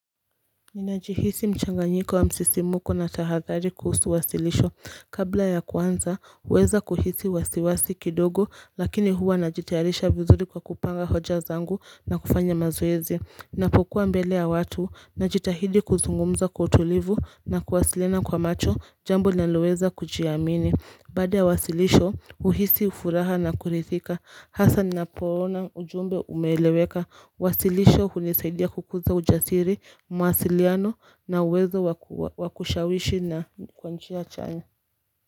Ninajihisi mchanga nyiko wa msisimuko na tahathari kuhusu wasilisho Kabla ya kwanza, uweza kuhisi wasiwasi kidogo Lakini huwa najitaharisha vizuri kwa kupanga hoja zangu na kufanya mazoezi Napokuwa mbele ya watu, najitahidi kuzungumza kutulivu na kuwasilina kwa macho Jambo nalueza kujiamini Bada ya wasilisho, uhisi ufuraha na kurithika Hasa ninapoona ujumbe umeeleweka Wasilisho hunisaidia kukuza ujasiri mawasiliano na uwezo wakushawishi na kwanchia chanya.